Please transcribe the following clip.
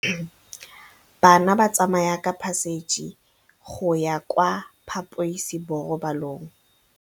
Bana ba tsamaya ka phašitshe go ya kwa phaposiborobalong.